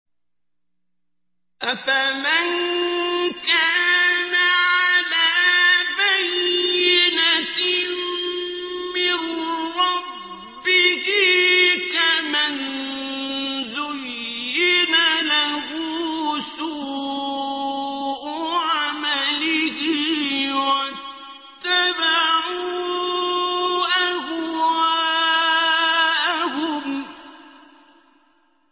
أَفَمَن كَانَ عَلَىٰ بَيِّنَةٍ مِّن رَّبِّهِ كَمَن زُيِّنَ لَهُ سُوءُ عَمَلِهِ وَاتَّبَعُوا أَهْوَاءَهُم